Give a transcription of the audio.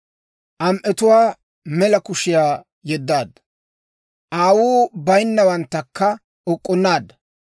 Am"etuwaa mela kushiyaa yeddaadda; aawuu bayinnawanttakka uk'k'unnaadda.